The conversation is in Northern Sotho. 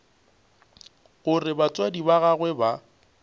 gore batswadi ba gagwe ba